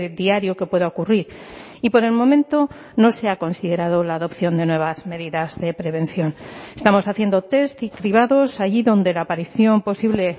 diario que pueda ocurrir y por el momento no se ha considerado la adopción de nuevas medidas de prevención estamos haciendo test y cribados allí donde la aparición posible